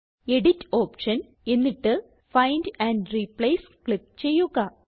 edit option എന്നിട്ട് find and replace click ചെയ്യുക